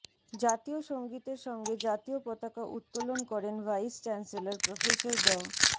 জাতীয় সঙ্গীতের সঙ্গে জাতীয় পতাকা উত্তোলন করেন ভাইস চ্যান্সেলর প্রফেসর ড